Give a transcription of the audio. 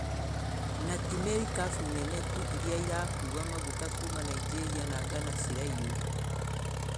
Na ti merikabu nene tu iria ĩrakua maguta kuuma Ningeria na Ghana ciraiywo.